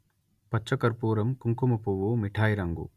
పచ్చ కర్పూరంకుంకుమ పువ్వుమిఠాయి రంగు